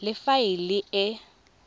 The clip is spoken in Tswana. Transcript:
le fa e le e